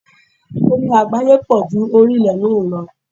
Omi àgbáyé pọ̀ ju orí ilé náà lọ.